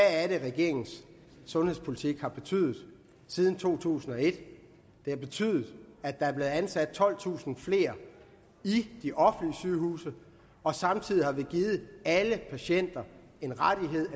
er regeringens sundhedspolitik har betydet siden to tusind og et den har betydet at der er blevet ansat tolvtusind flere i de offentlige sygehuse og samtidig har vi givet alle patienter en rettighed